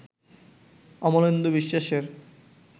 অমলেন্দু বিশ্বাসের